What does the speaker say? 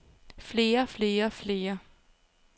flere flere flere